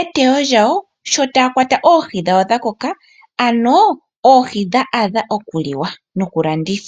eteyo lyawo shotaakwata oohi dhawo dhakoka ano oohi dha adha okuliwa noku landithwa.